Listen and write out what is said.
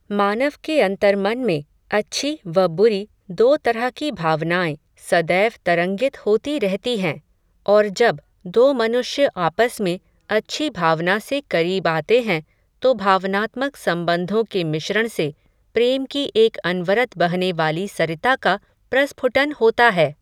मानव के अन्तर्मन में, अच्छी, व बुरी, दो तरह की भावनाएं, सदैव तरंगित होती रहती हैं, और जब, दो मनुष्य आपस में, अच्छी भावना से करीब आते हैं, तो भावनात्मक सबंधों के मिश्रण से, प्रेम की एक अनवरत बहने वाली सरिता का, प्रस्फुटन होता है